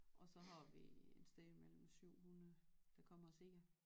Og så har vi et sted mellem 700 der kommer og ser